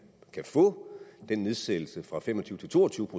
kan få den nedsættelse fra fem og tyve til to og tyve